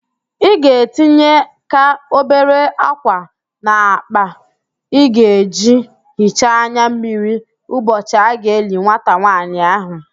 Ị ga-etinyeka obere ákwà n'akpa ị ga-eji hichaa anya mmiri ụbọchị a ga-eli nwata nwaanyị ahụ